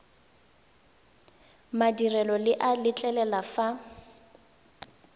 madirelo le a letlelela fa